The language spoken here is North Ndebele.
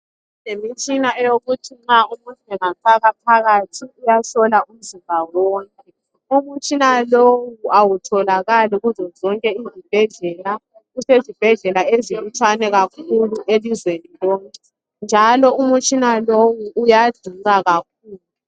Sesilemtshina eyokuthi nxa umuntu engafakwa phakathi uyahlola umzimba wonke umtshina lowu awutholakali kuzo zonke izibhedlela usezibhedlela ezilutshwani ilizwe lonke njalo umutshina lowu uyadula kakhulu.